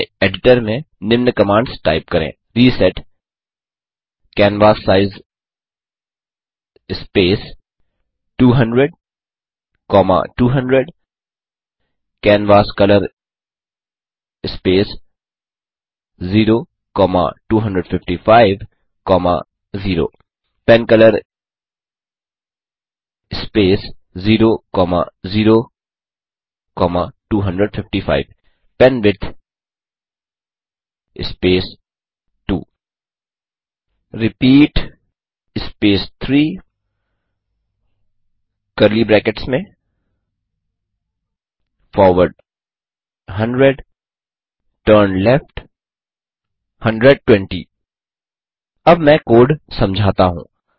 अपने एडिटर में निम्न कमांड्स टाइप करें160 reset canvassize space 200200 canvascolor space 02550 pencolor space 00255 penwidth space 2 repeat space 3कर्ली ब्रेकैट्स में फॉरवर्ड 100 टर्नलेफ्ट 120 अब मैं कोड समझाता हूँ